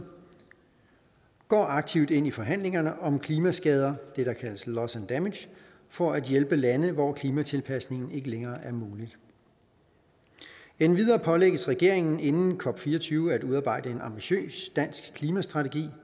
går aktivt ind i forhandlingerne om klimaskader for at hjælpe lande hvor klimatilpasning ikke længere er muligt endvidere pålægges regeringen inden cop24 at udarbejde en ambitiøs dansk klimastrategi